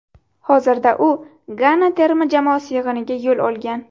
Hozirda u Gana terma jamoasi yig‘iniga yo‘l olgan.